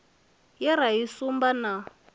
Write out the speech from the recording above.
ye ra i sumba na